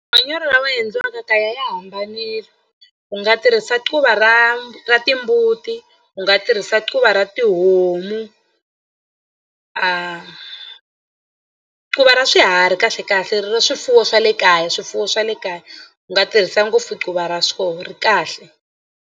Manyoro lawa endliwaka kaya ya hambanile u nga tirhisa quva ra ra timbuti u nga tirhisa quva ra tihomu quva ra swiharhi kahlekahle ra swifuwo swa le kaya swifuwo swa le kaya u nga tirhisa ngopfu quva ra swona ri kahle.